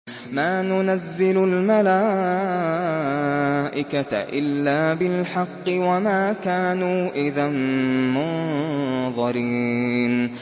مَا نُنَزِّلُ الْمَلَائِكَةَ إِلَّا بِالْحَقِّ وَمَا كَانُوا إِذًا مُّنظَرِينَ